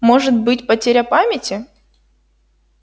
может быть потеря памяти